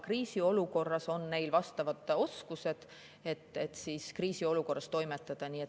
Kriisiolukorras on neil siis vastavad oskused, kuidas toimetada.